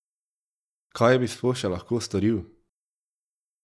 Kaj bi sploh še lahko storil?